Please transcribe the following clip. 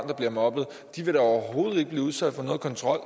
der bliver mobbet vil da overhovedet ikke blive udsat for nogen kontrol